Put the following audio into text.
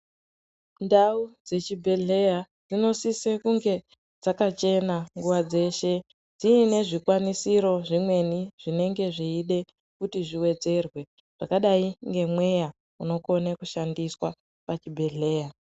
Ndau dzechibhedhleya dzinosise kunge dzakachena nguva dzeshe dziine zvikwanisiro zvemweni zvinenge zveide kuti zviwedzerwe zvakadai ngemweya unokone kushandiswa pazvibhedhleya.